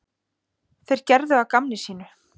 Þeir gerðu að gamni sínu.